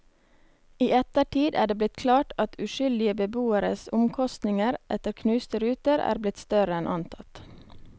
I ettertid er det blitt klart at uskyldige beboeres omkostninger etter knuste ruter er blitt større enn antatt.